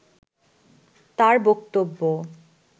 তাঁর বক্তব্য